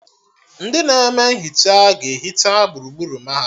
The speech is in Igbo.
Ndị na-eme nhicha ga-ehicha gburugburu mahadum